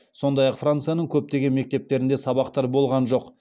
сондай ақ францияның көптеген мектептерінде сабақтар болған жоқ